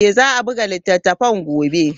Za a buga littattafan gobe.